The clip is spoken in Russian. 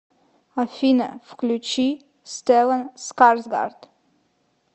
афина включи стэллан скарсгард